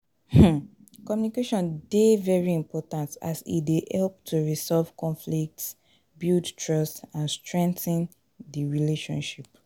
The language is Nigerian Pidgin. um communication dey very important as e dey help to resolve conflicts, build trust and strengthen di relationship.